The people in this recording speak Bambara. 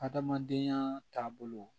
Adamadenya taabolo